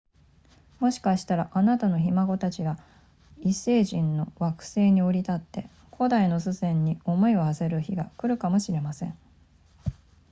もしかしたらあなたのひ孫たちが異星人の惑星に降り立って古代の祖先に思いを馳せる日が来るかもしれません